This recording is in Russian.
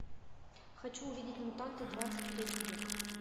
хочу увидеть мутанты двадцать третий век